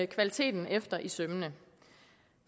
kvaliteten efter i sømmene